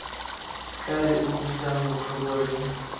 tla re utlwisang botlhoko re